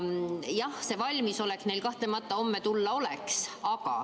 Jah, kahtlemata neil on valmisolek homme tulla.